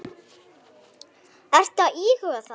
Ertu að íhuga það?